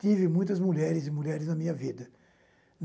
Tive muitas mulheres e mulheres na minha vida.